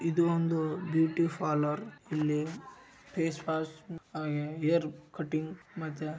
ಇದು ಒಂದು beauty parlour ಇಲ್ಲಿ ಹೇರ್‌ ವಾಶ್ ಹೇರ್‌ ಕಟ್ಟಿಂಗ್‌ ಮತ್ತೆ--